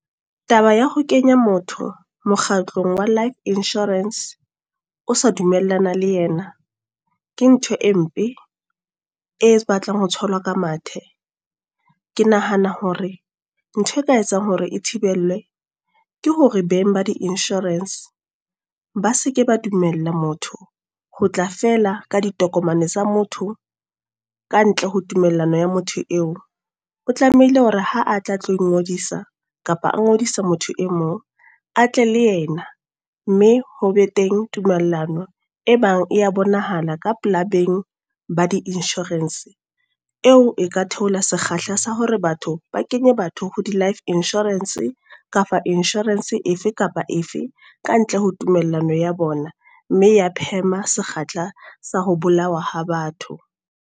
Taba ya ho kenya motho, mokgatlong wa life insurance, o sa dumellana le yena. Ke ntho e mpe, e batlang ho tshelwa ka mathe. Ke nahana hore, ntho e ka etsang hore e thibelwe. Ke hore beng ba di insurance ba seke ba dumella motho, ho tla fela ka ditokomane tsa motho, kantle ho tumellano ya motho eo. O tlamehile hore ha a tla tlo ngodisa, kapa a ngodisa motho e mong a tle le yena. Mme ho be teng tumellano e bang ya bonahala ka pela beng ba di insurance. Eo e ka theola sekgahla sa hore batho, ba kenye batho ho di life insurance e kapa insurance efe kapa efe kantle ho tumellano ya bona. Mme ya phema sekgahla sa ho bolawa ha batho.